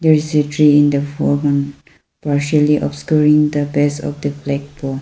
i see tree in the foreground partially obscuring the pace of the black po--